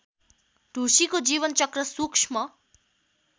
ढुसीको जीवनचक्र सूक्ष्म